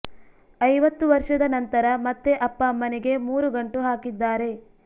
ಐವತ್ತು ವರ್ಷದ ನಂತರ ಮತ್ತೆ ಅಪ್ಪ ಅಮ್ಮನಿಗೆ ಮೂರು ಗಂಟು ಹಾಕಿದ್ದಾರೆ